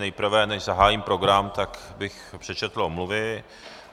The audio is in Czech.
Nejprve, než zahájím program, tak bych přečetl omluvy.